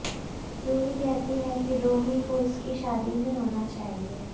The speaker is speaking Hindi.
रूही कहती है कि रोमी को उसकी शादी में होना चाहिए